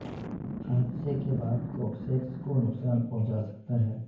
حادثے کے بعد کوکسیکس کو نقصان پہنچا سکتا ہے